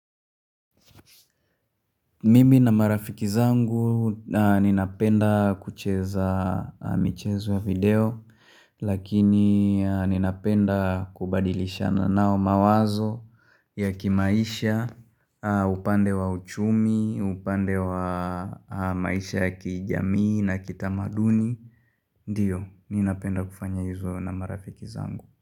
Mimi na marafiki zangu ninapenda kucheza michezo ya video Lakini ninapenda kubadilishana nao mawazo ya kimaisha upande wa uchumi, upande wa maisha ya kijamii na kitamaduni Ndiyo, ninapenda kufanya hizo na marafiki zangu.